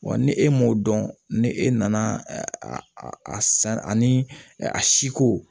Wa ni e m'o dɔn ni e nana a a san ani a siko